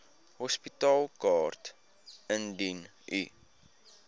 hospitaalkaart indien u